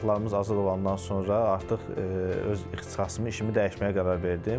Torpaqlarımız azad olandan sonra artıq öz ixtisasımı, işimi dəyişməyə qərar verdim.